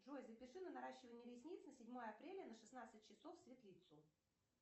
джой запиши на наращивание ресниц на седьмое апреля на шестнадцать часов в светлицу